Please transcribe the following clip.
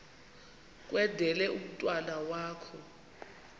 kwendele umntwana wakho